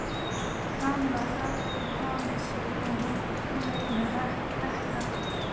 Kamilla gat ekki hamið sig og hún grét með ekka.